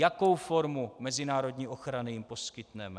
Jakou formu mezinárodní ochrany jim poskytneme.